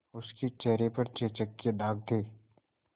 उसके चेहरे पर चेचक के दाग थे